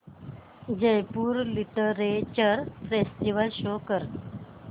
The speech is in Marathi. जयपुर लिटरेचर फेस्टिवल शो कर